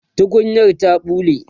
tukunyar ta ɓule